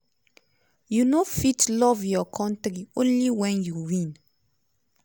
"you no fit love your kontri only wen you win.